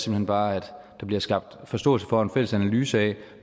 hen bare at der bliver skabt forståelse for en fælles analyse af